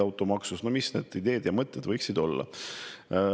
Arutasime, millised ideid ja mõtteid võiks olla.